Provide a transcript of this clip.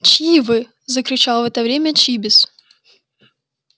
чьи вы закричал в это время чибис